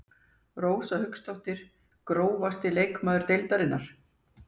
Rósa Hauksdóttir Grófasti leikmaður deildarinnar?